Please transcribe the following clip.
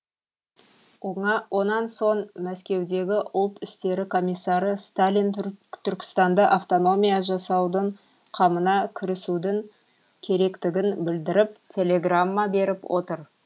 онан соң мәскеудегі ұлт істері комиссары сталин түркістанда автономия жасаудың қамына кірісудің керектігін білдіріп телеграмма беріп отыр